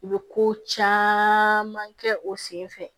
U bɛ ko caman kɛ u sen fɛ